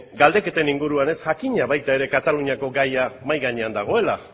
galdeketan inguruan jakina baita ere kataluniako gaia mahai gainean dagoela